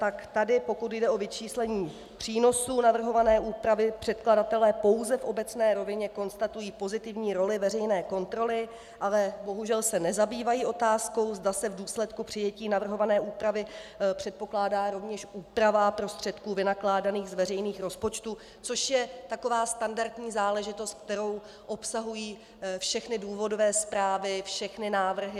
Tak tady, pokud jde o vyčíslení přínosů navrhované úpravy, předkladatelé pouze v obecné rovině konstatují pozitivní roli veřejné kontroly, ale bohužel se nezabývají otázkou, zda se v důsledku přijetí navrhované úpravy předpokládá rovněž úprava prostředků vynakládaných z veřejných rozpočtů, což je taková standardní záležitost, kterou obsahují všechny důvodové zprávy, všechny návrhy.